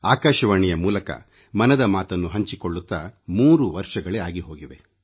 ಆಕಾಶವಾಣಿಯ ಮೂಲಕ ಮನದ ಮಾತನ್ನು ಹಂಚಿಕೊಳ್ಳುತ್ತಾ 3 ವರ್ಷಗಳೇ ಆಗಿ ಹೋಗಿವೆ